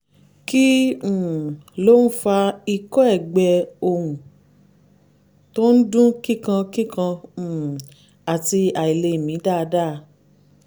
kí um ló ń fa ikọ́ ẹ̀gbẹ ohùn tó ń dún kíkankíkan um àti àìlèmí dáadáa?